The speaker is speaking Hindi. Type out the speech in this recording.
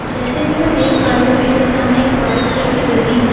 जैसे की मैं देख पा रही हूँ मेरे सामने एक वाइट कलर की बिल्डिंग है --